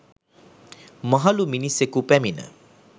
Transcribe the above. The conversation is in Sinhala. මහළු මිනිසකු පැමිණ